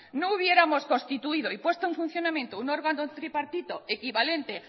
no hubiéramos constituido y puesto en funcionamiento un órgano tripartito equivalente